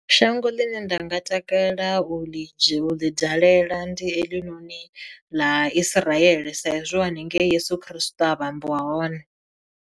Shango ḽine nda nga takalela u ḽi dzhie u ḽi dalela ndi heḽinoni ḽa Isiraele sa izwi haningei Yeso Christo a vhambiwa hone.